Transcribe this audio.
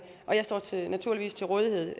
jeg står naturligvis til rådighed